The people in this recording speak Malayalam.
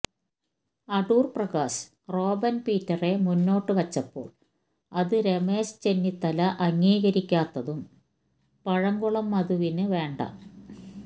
അടൂർ പ്രകാശ് റോബൻ പീറ്ററെ മുന്നോട്ട് വച്ചപ്പോൾ അത് രമേശ് ചെന്നിത്തല അംഗീകരിക്കാത്തതും പഴകുളം മധുവിന് വേണ്ട